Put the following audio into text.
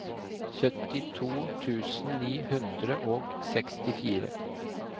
syttito tusen ni hundre og sekstifire